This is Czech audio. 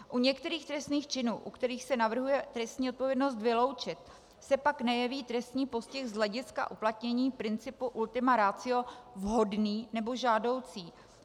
U některých trestných činů, u kterých se navrhuje trestní odpovědnost vyloučit, se pak nejeví trestní postih z hlediska uplatnění principu ultima ratio vhodný nebo žádoucí.